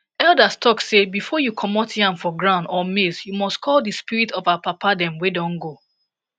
elders talk say before you comot yam for ground or maize you must call the spirit of our papa dem wey don go